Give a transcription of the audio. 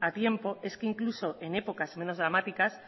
a tiempo es que incluso en épocas menos dramáticas